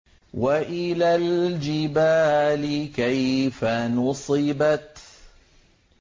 وَإِلَى الْجِبَالِ كَيْفَ نُصِبَتْ